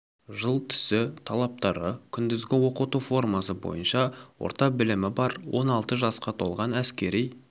жыл түсі талаптары күндізгі оқыту формасы бойынша орта білімі бар он алты жасқа толған әскери